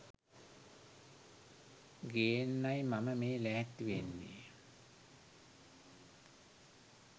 ගේන්නයි මම මේ ලෑස්ති වෙන්නේ.